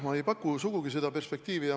Ma ei paku sugugi seda perspektiivi.